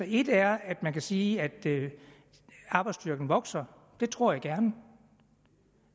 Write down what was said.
et er at man kan sige at arbejdsstyrken vokser det tror jeg gerne